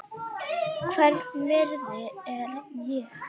Hvers virði er ég?